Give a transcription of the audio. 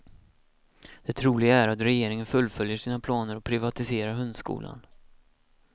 Det troliga är att regeringen fullföljer sina planer och privatiserar hundskolan.